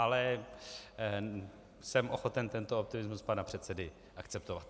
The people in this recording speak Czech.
Ale jsem ochoten tento optimismus pana předsedy akceptovat.